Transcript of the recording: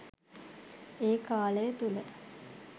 ඒ කාලය තුළ